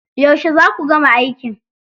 Yauce za ku gama aikin?